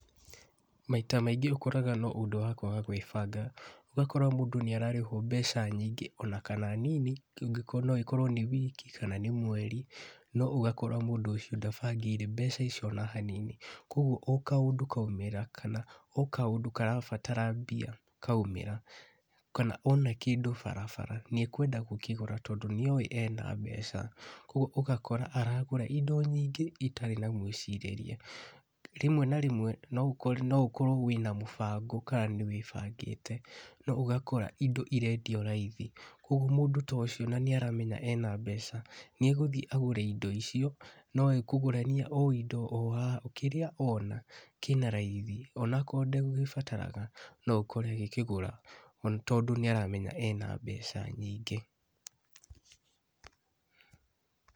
Maita maingĩ ũkoraga no ũndũ wa kwaga gwĩbanga, ũgakora mũndũ nĩ ararĩhwo mbeca nyingĩ ona kana nini, no ĩkorwo nĩ wiki kana nĩ mweri no ũgakora mũndũ ũcio ndabangĩire mbeca icio o hanini, kũgwo o kaũndũ kaumĩra kana o kaũndũ karabatara mbia kaumĩra kana ona kĩndũ bara nĩ arenda gũkĩgũra tondũ nĩoĩ ena mbeca , kũgwo ũgakora aragũra indo nyingĩ itarĩ na mwĩcirĩrie , rĩmwe na rĩmwe no ũkorwo wĩna mũbango kana nĩ wĩbangĩte no ũgakora indo irendio raithi ũgwo mũndũ ta ũcio nĩ aramenya ena mbeca nĩ agũthiĩ agũre indo icio, no ekũgũrania o indo kĩrĩa ona kĩna raithi ona akorwo ndegũbataraga no ũkore agĩkĩgũra, tondũ nĩ aramenya ena mbeca nyingĩ.